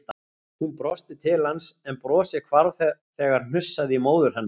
Hún brosti til hans en brosið hvarf þegar hnussaði í móður hennar.